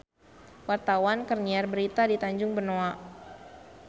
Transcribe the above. Wartawan keur nyiar berita di Tanjung Benoa